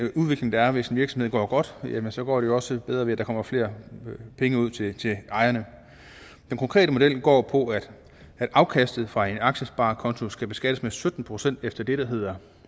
udvikling der er hvis en virksomhed går godt og så går det jo også bedre ved at der kommer flere penge ud til ejerne den konkrete model går på at afkastet fra en aktiesparekonto skal beskattes med sytten procent efter det der hedder